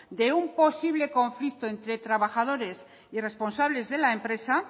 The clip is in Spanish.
de un posible conflicto entre trabajadores y responsables de la empresa